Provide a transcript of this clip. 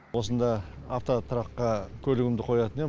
осында автотұраққа көлігімді қоятын ем